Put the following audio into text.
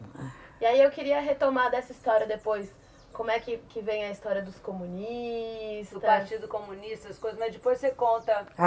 E aí eu queria retomar dessa história depois, como é que que vem a história dos comunistas... O partido comunista, as coisas, mas depois você conta.